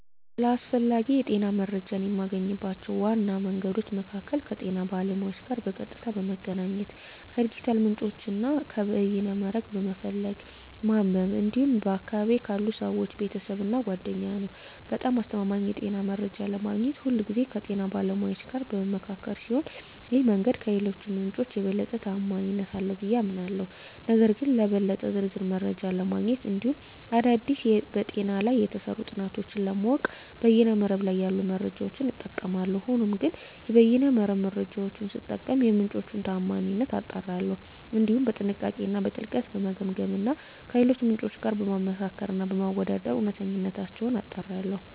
ስለ አስፈላጊ የጤና መረጃን የማገኝባቸው ዋና መንገዶች መካከል ከጤና ባለሙያዎች ጋር በቀጥታ በመገናኘት፣ ከዲጂታል ምንጮች እና ከበይነ መረብ በመፈለግ እና በማንበብ እንዲሁም በአካባቢየ ካሉ ሰወች፣ ቤተሰብ እና ጓደኛ ነዉ። በጣም አስተማማኝ የጤና መረጃ ለማግኘት ሁልጊዜ ከጤና ባለሙያዎች ጋር በምመካከር ሲሆን ይህ መንገድ ከሌሎቹ ምንጮች የበለጠ ተአማኒነት አለው ብየ አምናለሁ። ነገር ግን ለበለጠ ዝርዝር መረጃ ለማግኘት እንዲሁም አዳዲስ በጤና ላይ የተሰሩ ጥናቶችን ለማወቅ በይነ መረብ ላይ ያሉ መረጃዎችን እጠቀማለሁ። ሆኖም ግን የበይነ መረብ መረጃወቹን ስጠቀም የምንጮቹን ታአማኒነት አጣራለሁ፣ እንዲሁም በጥንቃቄ እና በጥልቀት በመገምገም እና ከሌሎች ምንጮች ጋር በማመሳከር እና በማወዳደር እውነተኝነታቸውን አጣራለሁ።